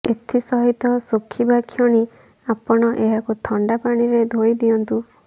ଏଥିସହିତ ଶୁଖିବାକ୍ଷଣି ଆପଣ ଏହାକୁ ଥଣ୍ଡା ପାଣିରେ ଧୋଇ ଦିଅନ୍ତୁ